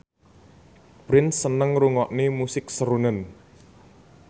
Prince seneng ngrungokne musik srunen